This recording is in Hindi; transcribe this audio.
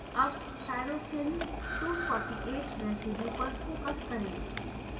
अब tyrosine 248 रेसीड्यू पर फोकस करें